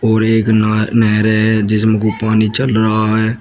और एक नह नहरें है जिसमें को पानी चल रहा है।